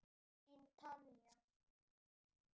Þín Tanja.